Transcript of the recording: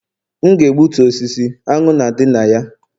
M ga-egbutu osisi, aṅụ na-adị na ya